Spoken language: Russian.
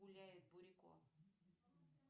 гуляет бурико